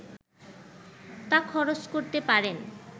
তা খরচ করতে পারেন